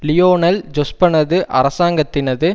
Lionel ஜொஸ்பனது அரசாங்கத்தினது